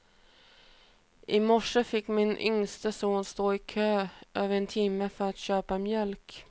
I morse fick min yngste son stå i kö i över en timma för att köpa mjölk.